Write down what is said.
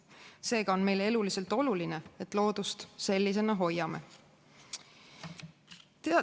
Seega on meile eluliselt oluline, et me loodust sellisena hoiame.